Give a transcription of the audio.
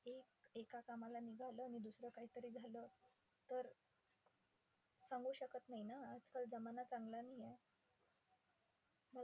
. एक एका कामाला निघालं आणि दुसरं काही झालं तर? सांगू शकत नाही ना. आजकाल चांगला नाहीये.